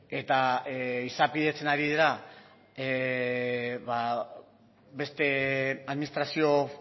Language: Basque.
eta izapidetzen ari dira beste administrazio